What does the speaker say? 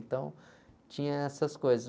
Então, tinha essas coisas.